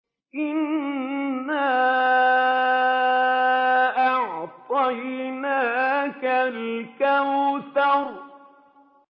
إِنَّا أَعْطَيْنَاكَ الْكَوْثَرَ